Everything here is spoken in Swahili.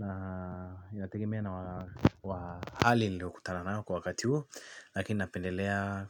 Na inategemea na wa hali niliokutana nayo kwa wakati huo. Lakini napendelea